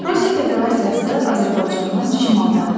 Rusiya Federasiyası Azərbaycandan şimaldadır.